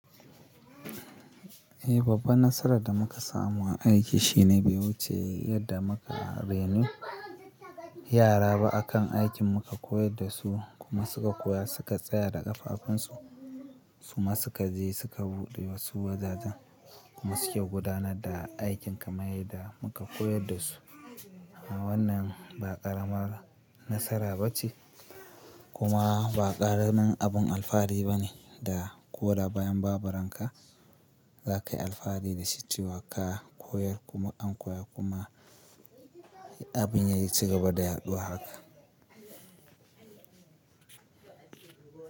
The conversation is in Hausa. Eh, babban nasarar da muka samu a aiki shine bai wuce, yadda muka raino yara ba akan aikin muka koyar da su kuma suka koya suka tsaya da ƙafafunsu. Su ma suka je suka buɗe wasu wajajen kuma suke gudanar da aikin kamar yadda muka koyar da su. Wannan ba ƙaramar nasara ba ce kuma ba ƙaramin abun alfahari ba ne da ko da bayan babu ranka za ka yi alfahari da shi. Cewa ka koyar kuma an koya kuma abin ya yi cigaba da yaɗuwa haka.